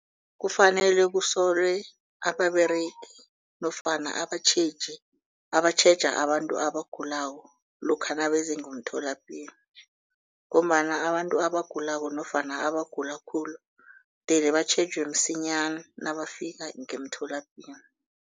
Kufanele kusolwe ababeregi nofana abatjheji abatjheja abantu abagulako lokha nabeza ngemtholapilo. Ngombana abantu abagulako nofana abagula khulu mdele batjhejwe msinyana nabafika ngemtholapilo.